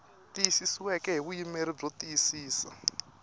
tiyisisiweke hi vuyimeri byo tiyisisa